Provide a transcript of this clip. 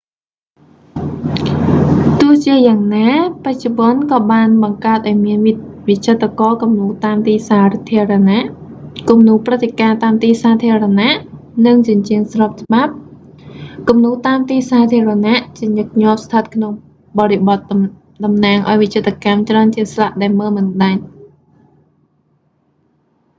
ទោះជាយ៉ាងណា បច្ចុប្បន្នក៏បានបង្កើតឱ្យមានវិចិត្រករគំនូរតាមទីសាធារណៈ គំនូរព្រឹត្តិការណ៍តាមទីសាធារណៈ និងជញ្ជាំង ស្របច្បាប់”។ គំនូរតាមទីសាធារណៈ ជាញឹកញាប់ស្ថិតក្នុងបរិបទតំណាងឱ្យវិចិត្រកម្មច្រើនជាងស្លាកដែលមើលមិនដាច់។